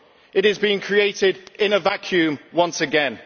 it is being created in a vacuum once again.